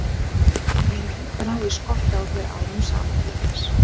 Ég hef reynt að ná í skottið á þér árum saman til þess.